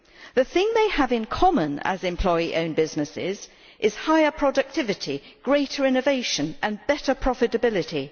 The thing they have in common as employee owned businesses is higher productivity, greater innovation and better profitability.